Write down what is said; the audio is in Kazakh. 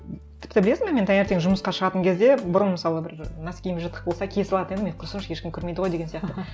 тіпті білесің бе мен таңертең жұмысқа шығатын кезде бұрын мысалы бір носкиім жыртық болса кие салатын едім е құрысыншы ешкім көрмейді ғой деген сияқты